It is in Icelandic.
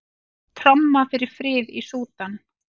Tromma fyrir frið í Súdan